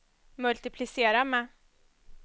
multiplicera med